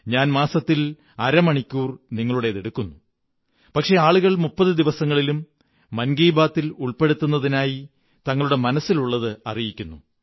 ഞാൻ മാസത്തിൽ നിങ്ങളുടെ അര മണിക്കൂർ എടുക്കുന്നു പക്ഷേ ആളുകൾ മുപ്പതു ദിവസങ്ങളിലും മൻ കീ ബാത്തി ൽ ഉള്പ്പെ ടുത്തുന്നതിനായി തങ്ങളുടെ മനസ്സിലുള്ളത് അറിയിക്കുന്നു